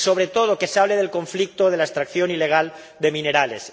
Y, sobre todo, que se hable del conflicto de la extracción ilegal de minerales.